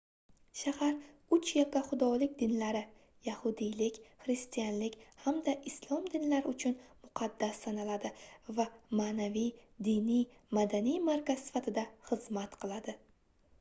shahar uch yakkaxudolik dinlari yahudiylik xristianlik hamda islom dinlari uchun muqaddas sanaladi va maʼnaviy diniy madaniy markaz sifatida xizmat qiladi